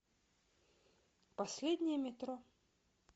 последнее метро